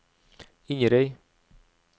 Inderøy